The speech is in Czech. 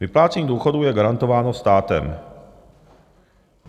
Vyplácení důchodů je garantováno státem.